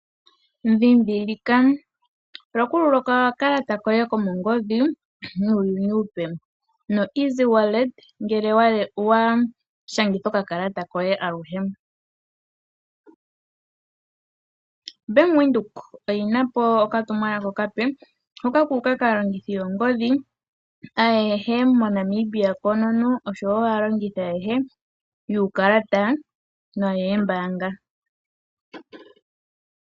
Dhindhilika: patulula okakalata koye komongodhi nuuyuni uupe nomukalo gokutuma oshimaliwa kongodhi gwaBank Windhoek ngele wa shangitha okakalata koye aluhe. Bank Windhoek oyi na po okatumwalaka okape hoka ku uka kaalongithi yoongodhi ayehe moNamibia koonono noshowo aalongithi ayehe yuukalata noyoombaanga.